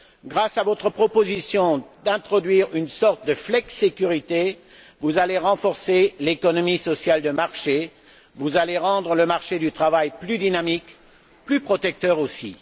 Grâce à votre proposition d'introduire une sorte de flexisécurité, vous allez renforcer l'économie sociale de marché, vous allez rendre le marché du travail plus dynamique, plus protecteur aussi.